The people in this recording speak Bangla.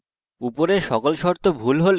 উপরের সকল শর্ত ভুল হলে